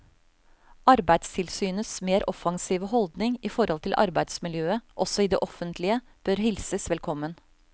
Arbeidstilsynets mer offensive holdning i forhold til arbeidsmiljøet også i det offentlige bør hilses velkommen.